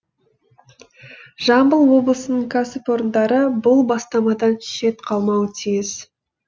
жамбыл облысының кәсіпорындары бұл бастамадан шет қалмауы тиіс